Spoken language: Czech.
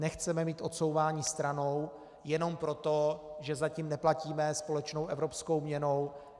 Nechceme mít odsouvání stranou jenom proto, že zatím neplatíme společnou evropskou měnou.